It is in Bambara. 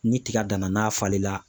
Ni tiga dan na n'a falen la